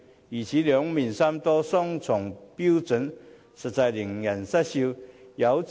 如此兩面三刀、雙重標準，實在令人失笑。